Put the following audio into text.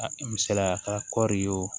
A misaliya ka kɔɔri wo